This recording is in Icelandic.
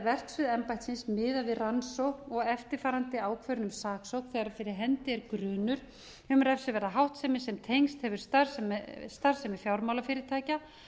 verksvið embættisins miðað við rannsókn og eftirfarandi ákvörðun um saksókn þegar fyrir efni er grunur um refsiverða háttsemi sem tengst hefur starfsemi fjármálafyrirtækja